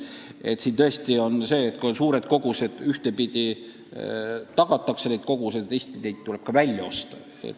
Tõesti on nii, et kui on suured kogused, siis ühtepidi tuleb need tagada, aga teistpidi need tuleb ka välja osta.